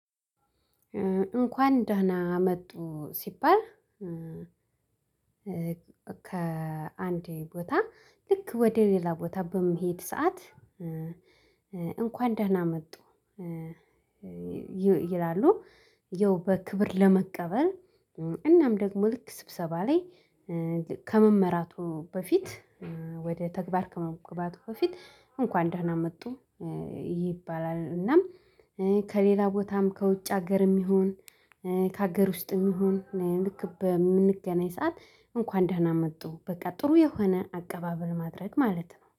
እንኳን ደህና መጡ ሲባል ከአንዴ ቦታ ልክ ወደ ሌላ ቦታ በመሄድ ሰዓት እንኳን ደህና መጡ ይላሉ ያው በክብር ለመቀበል እናም ደግሞ ልክ ስብሰባ ላይ ከመመራቱ በፊት ወደ ተግባር ከመግባቱ በፊት እንኳን ደህና መጡ ይባላል፤ እናም ከሌላ ቦታም ከውጭ ሀገርም ይሁን ከሀገር ውስጥም ይሁን ልክ በምንገናኝ ሰዓት እንኳን ደህና መጡ በቃ ጥሩ የሆነ አቀባበል ማድረግ ማለት ነው።